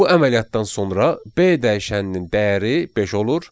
Bu əməliyyatdan sonra B dəyişəninin dəyəri beş olur.